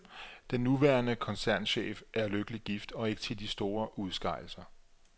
Den nuværende koncernchef er lykkelig gift og ikke til de store udskejelser.